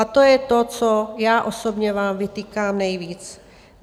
A to je to, co já osobně vám vytýkám nejvíc.